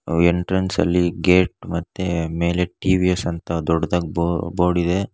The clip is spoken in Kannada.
ಎಂಟ್ರನ್ಸ್ ಅಲ್ಲಿ ಗೇಟ್ ಮತ್ತೆ ಮೇಲೆ ಟಿ_ವಿ_ಎಸ್ ಯ ಸಂತ ದೊಡ್ಡದಾಗ್ ಬೋರ್ಡ್ ಇದೆ.